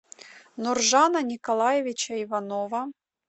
нуржана николаевича иванова